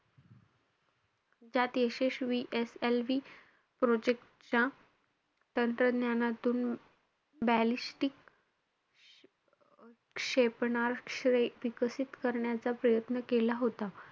त्यात यशस्वी SLV project च्या तंत्रज्ञानातून ballistic क्षेपणास्त्रे विकसित करण्याचा प्रयत्न केला होता.